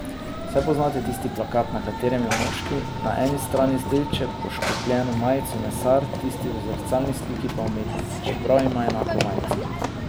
Saj poznate tisti plakat, na katerem je moški na eni strani z rdeče poškropljeno majico mesar, tisti v zrcalni sliki pa umetnik, čeprav ima enako majico.